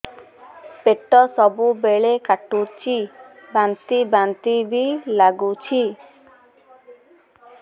ପେଟ ସବୁବେଳେ କାଟୁଚି ବାନ୍ତି ବାନ୍ତି ବି ଲାଗୁଛି